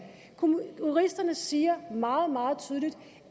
juristerne siger meget meget tydeligt